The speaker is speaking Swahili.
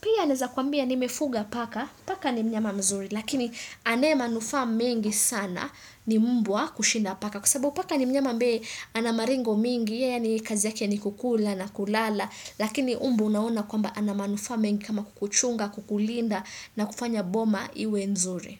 Pia naeza kuambia nimefuga paka, paka ni mnyama mzuri, lakini anae manufaa mengi sana ni mbwa kushinda paka. Kwa sababu paka ni mnyama ambaye ana maringo mengi yaani kazi yake ni kukula na kulala lakini mbwa unaona kwamba ana manufaa mengi kama kukuchunga, kukulinda na kufanya boma iwe nzuri.